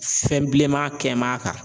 Fɛn bilenman kɛm'a kan.